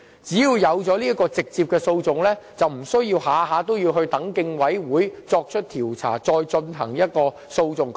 只要有直接的訴訟，便不需要每次都必須等待競委會作出調查，再進行訴訟。